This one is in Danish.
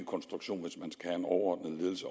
konstruktion